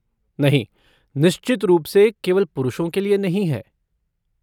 नहीं, निश्चित रूप से केवल पुरुषों के लिए नहीं है।